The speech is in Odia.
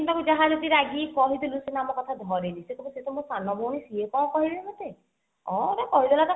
ଯାହା ହେଲେବି ରାଗିକି କହିଦେଲୁ ସିନା ଆମ କଥା ଧରେନି ସେ କହିବ ସେ ତ ମୋ ସାନ ଭଉଣୀ ସିଏ କଣ କହିବେ ମତେ ହଁ ଗିତେ କହିଦେଲା ତ